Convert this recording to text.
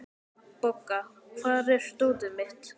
Bogga, hvar er dótið mitt?